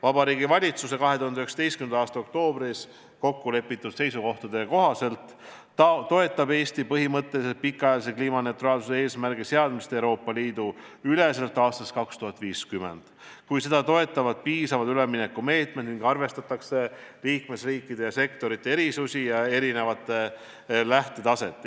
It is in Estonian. Vabariigi Valitsuse 2019. aasta oktoobris kokku lepitud seisukohtade kohaselt toetab Eesti põhimõtteliselt pikaajalise kliimaneutraalsuse eesmärgi seadmist Euroopa Liidu üleselt aastaks 2050, kui seda toetavad piisavad üleminekumeetmed ning arvestatakse liikmesriikide ja sektorite erisusi ja erinevat lähtetaset.